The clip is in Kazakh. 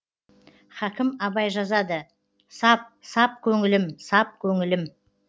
хакім абай жазады сап сап көңілім сап көңілім